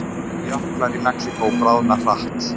Jöklar í Mexíkó bráðna hratt